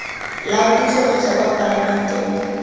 la puso kotsa kwa palamenteng